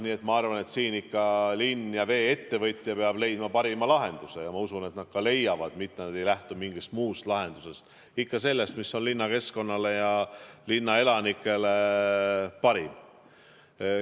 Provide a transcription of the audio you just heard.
Nii et ma arvan, et siin ikka linn ja vee-ettevõtja peavad leidma parima lahenduse, ja ma usun, et nad ka leiavad, nad ei lähtu mingist muust lahendusest, ikka sellest, mis on linnakeskkonnale ja linnaelanikele parim.